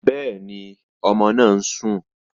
Bẹ́ẹ̀ni, ọmọ náà ń sùn